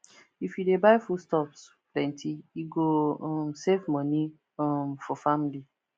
if you dey buy foodstuffs plenty e go um save money um for family